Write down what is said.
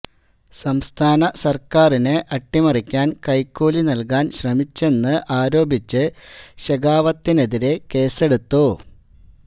സംസ്ഥാന സർക്കാറിനെ അട്ടിമറിക്കാൻ കൈക്കൂലി നൽകാൻ ശ്രമിച്ചെന്ന് ആരോപിച്ച് ശെഖാവത്തിനെതിരെ കേസെടുത്തു